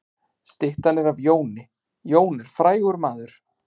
Styttan er af Jóni. Jón er frægur maður.